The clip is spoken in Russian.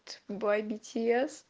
бой би ти эс